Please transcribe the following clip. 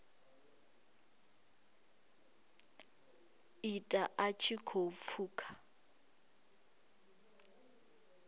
ita a tshi khou pfuka